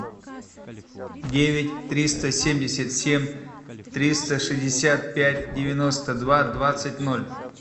девять триста семьдесят семь триста шестьдесят пять девяносто два двадцать ноль